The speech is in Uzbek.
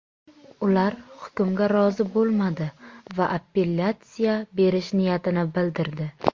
Ular hukmga rozi bo‘lmadi va apellyatsiya berish niyatini bildirdi.